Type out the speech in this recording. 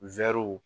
Wɛriw